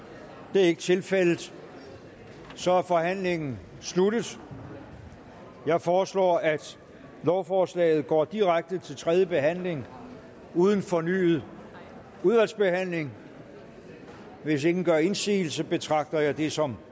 det er ikke tilfældet og så er forhandlingen sluttet jeg foreslår at lovforslaget går direkte til tredje behandling uden fornyet udvalgsbehandling hvis ingen gør indsigelse betragter jeg det som